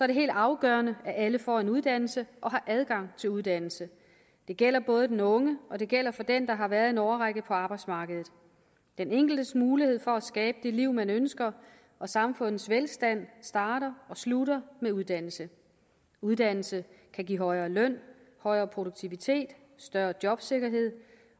det helt afgørende at alle får en uddannelse og har adgang til uddannelse det gælder både den unge og det gælder for den der har været en årrække på arbejdsmarkedet den enkeltes mulighed for at skabe det liv man ønsker og samfundets velstand starter og slutter med uddannelse uddannelse kan give højere løn højere produktivitet større jobsikkerhed